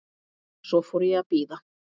Svo fór ég að bíða.